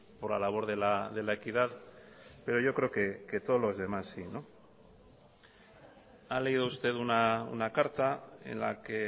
por la labor de la equidad pero yo creo que todos los demás sí ha leído usted una carta en la que